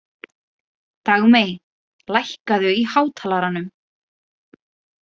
Dagmey, lækkaðu í hátalaranum.